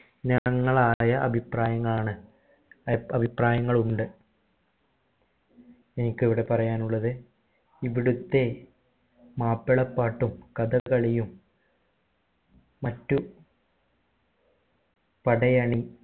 ആണ് അഭിപ്രായങ്ങൾ ഉണ്ട് എനിക്കിവിടെ പറയാനുള്ളത് ഇവിടുത്തെ മാപ്പിളപ്പാട്ടും കഥകളിയും മറ്റു പടയണി ആണ്